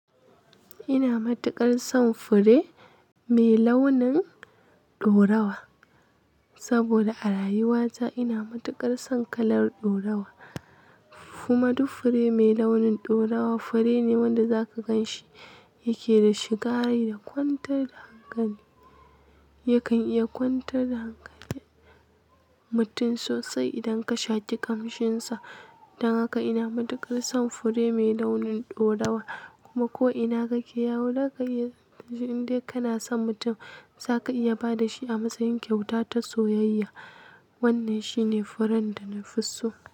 Ina matuƙar son fure mai launin ɗorawa saboda a rayuwata ina matuƙar son kalar ɗaurawa. Kuma duk fure mai launin ɗorawa fure ne wanda zaka gan shi yake da shiga rai da kwantar da hankali. Yakan iya kwantar da hankalin mutum sosai idan ka sha ki kamshinsa. Dan haka ina matuƙar son fure mai launin ɗorawa kuma ko'ina kake yawo zaka iya, idan dai kana son mutum zaka iya ba da shi a matsayin kyauta ta soyayya. Wannan shine furen da na fi so.